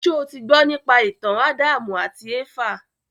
Ṣé o ti gbọ́ nípa ìtàn Ádámù àti Éfà?